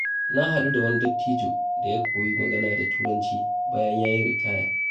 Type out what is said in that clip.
Na haɗu da wani dattijo da ya koyi magana da Turanci bayan ya yi ritaya.